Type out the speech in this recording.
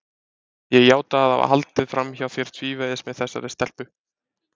Ég játa að hafa haldið fram hjá þér tvívegis með þessari stelpu.